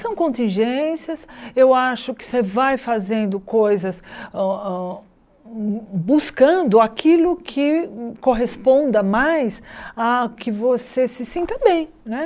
São contingências, eu acho que você vai fazendo coisas hã hã buscando aquilo que corresponda mais a que você se sinta bem né.